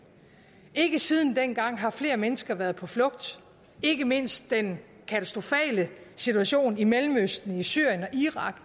ikke siden dengang har flere mennesker været på flugt ikke mindst den katastrofale situation i mellemøsten i syrien og irak